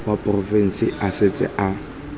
wa porofense a setse a